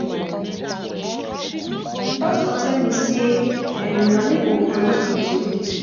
Pastor tell me say na me go handle Sunday school dis week